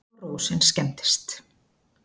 Og rósin skemmdist.